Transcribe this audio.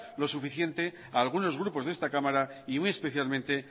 lo suficiente a algunos grupos de esta cámara y muy especialmente